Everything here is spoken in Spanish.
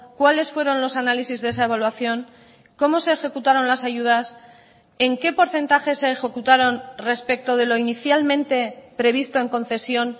cuáles fueron los análisis de esa evaluación cómo se ejecutaron las ayudas en qué porcentaje se ejecutaron respecto de lo inicialmente previsto en concesión